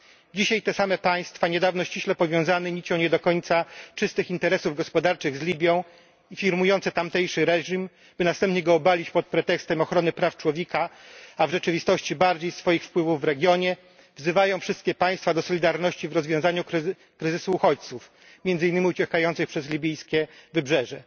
Dzisiaj te same państwa, niedawno ściśle powiązane nicią nie do końca czystych interesów gospodarczych z Libią i firmujące tamtejszy reżim, by następnie go obalić pod pretekstem ochrony praw człowieka, a w rzeczywistości bardziej swoich wpływów w regionie, wzywają wszystkie państwa do solidarności w rozwiązaniu kryzysu uchodźców, między innymi uciekających przez libijskie wybrzeże.